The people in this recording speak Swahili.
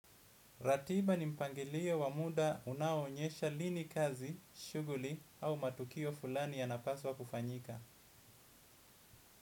Ratiba ni mpangilio wa muda unaoonyesha lini kazi, shughuli au matukio fulani yanapaswa kufanyika.